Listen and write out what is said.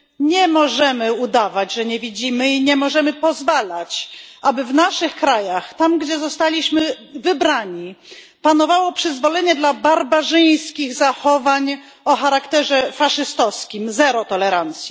Nie możemy udawać, że nie widzimy, i nie możemy pozwalać, aby w naszych krajach, gdzie zostaliśmy wybrani, panowało przyzwolenie dla barbarzyńskich zachowań o charakterze faszystowskim zero tolerancji.